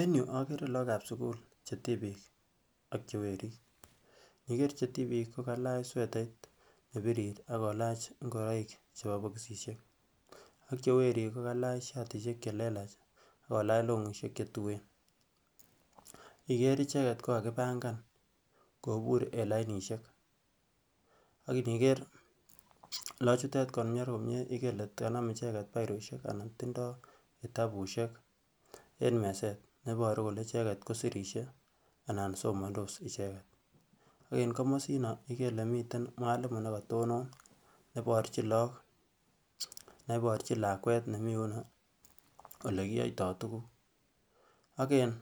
En yuu ogere look ab sukul che tibik ak che werik ntiger look che tibik kogalach swetait nebirir ak ngoroik chebo boxisiek ak che werik kogalach shitishek che lelach ak longishek che tuen. Iniger ichiket kongakipangan kobur en lainishen ak iniger look chuton komie igere igere ile kanam ichek biroshek anan tindo tabushek en mezet neboru kelee icheget ko sirisie anan somondos icheget. Ko en komosino igere ile miten mwalimu ne kotonon ne borchin look ne borchin lakwet nemii yunoo ole kiyoytoo tugug, ak en